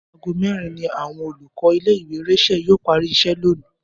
Aago mé̩rin ni àwo̩n olùkó̩ ilé ìwé Rachael yóò parí is̩é̩ lónìí